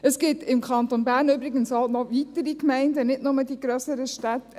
Es gibt im Kanton Bern übrigens auch noch weitere Gemeinden, nicht nur die grösseren Städte.